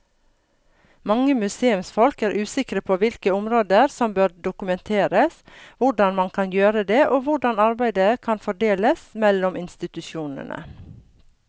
Mange museumsfolk er usikre på hvilke områder som bør dokumenteres, hvordan man kan gjøre det og hvordan arbeidet kan fordeles mellom institusjonene.